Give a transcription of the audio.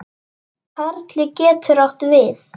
Karli getur átt við